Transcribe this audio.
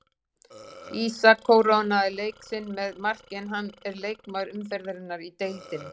Ísak kórónaði leik sinn með marki en hann er leikmaður umferðarinnar í deildinni.